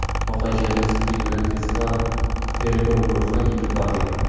Voqea joyiga zudlik bilan tezkor tergov guruhi yetib borgan.